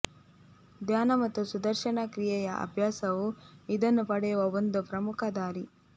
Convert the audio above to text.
ಧ್ಯಾನ ಮತ್ತು ಸುದರ್ಶನ ಕ್ರಿಯೆಯ ಅಭ್ಯಾಸವು ಇದನ್ನು ಪಡೆಯುವ ಒಂದು ಪ್ರಮುಖ ದಾರಿ